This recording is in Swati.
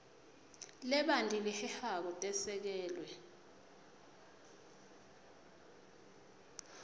lebanti lehehako tesekelwe